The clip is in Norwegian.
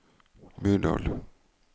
Myrdal